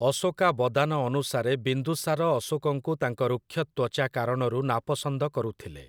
ଅଶୋକାବଦାନ' ଅନୁସାରେ, ବିନ୍ଦୁସାର ଅଶୋକଙ୍କୁ ତାଙ୍କ ରୁକ୍ଷ ତ୍ୱଚା କାରଣରୁ ନାପସନ୍ଦ କରୁଥିଲେ ।